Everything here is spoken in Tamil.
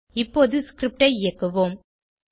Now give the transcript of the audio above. இப்போது ஸ்கிரிப்ட் ஐ இயக்குவோம்